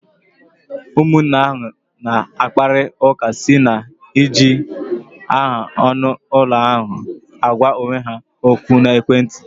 Ụmụnne ahụ na-akpari ụka site na-iji aha anụ ụlọ na-agwa onwe ha ókwú na ekwentị.